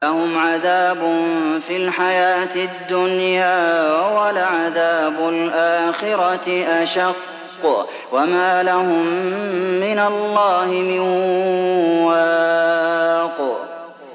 لَّهُمْ عَذَابٌ فِي الْحَيَاةِ الدُّنْيَا ۖ وَلَعَذَابُ الْآخِرَةِ أَشَقُّ ۖ وَمَا لَهُم مِّنَ اللَّهِ مِن وَاقٍ